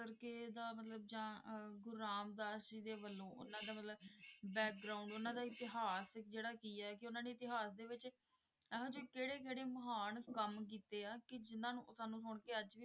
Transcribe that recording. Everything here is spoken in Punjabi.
ਮਤਲਬ ਕੇ ਇਹਦਾ ਮਤਲਬ ਜਾਣ ਅਰ ਗੁਰੂ ਰਾਮਦਾਸ ਜੀ ਦੇ ਵੱਲੋਂ ਉਹਨਾਂ ਦਾ ਮਤਲਬ ਉਹਨਾਂ ਦਾ ਇਤਿਹਾਸ ਜਿਹੜਾ ਕੀ ਏ ਕੇ ਉਹਨਾਂ ਨੇ ਇਤਿਹਾਸ ਦੇ ਵਿੱਚ ਇਹੋ ਜਿਹੇ ਕਿਹੜੇ ਕਿਹੜੇ ਮਹਾਨ ਕੰਮ ਕੀਤੇ ਆ ਕੇ ਜਿੰਨਾ ਨੂੰ ਸੁਣ ਕੇ ਅੱਜ ਵੀ,